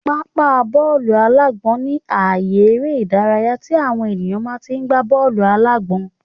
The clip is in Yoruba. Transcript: Pápá bọ́ọ̀lù-alágbọ̀n ní àye eré ìdárayá tí àwọn èèyàn máa tí n gbá bọ́ọ̀lù-alágbọ̀n